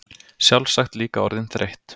Sjálfsagt líka orðin þreytt.